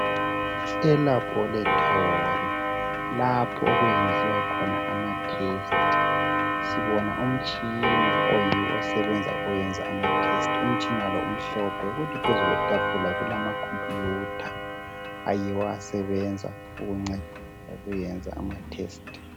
Elaboratori lapho okwenziwa khona amatesiti sibona umtshina oyiwo osebenza ukwenza amatesiti umtshina lo umhlophe. Kuthi phezu kwetafula kulamacomputha ayiwo asebenza ukuncedisa ukuyenza amatesiti.